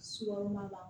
Sukɔro kɔnɔna la